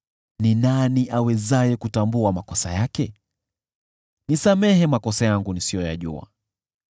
Ni nani awezaye kutambua makosa yake? Nisamehe makosa yangu nisiyoyajua.